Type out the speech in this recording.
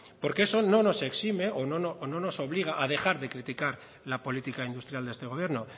porque eso no nos exime o no nos obliga a dejar de criticar la política industrial de este gobierno